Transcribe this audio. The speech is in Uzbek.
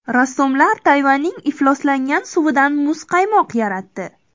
Rassomlar Tayvanning ifloslangan suvidan muzqaymoq yaratdi.